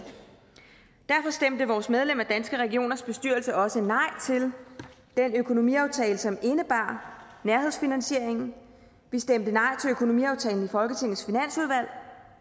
derfor stemte vores medlem af danske regioners bestyrelse også nej til den økonomiaftale som indebar nærhedsfinansieringen vi stemte nej til økonomiaftalen i folketingets finansudvalg